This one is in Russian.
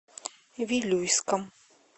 вилюйском